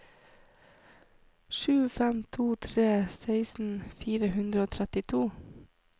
sju fem to tre seksten fire hundre og trettito